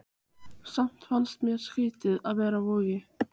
Samt fannst mér skrýtið að vera á Vogi.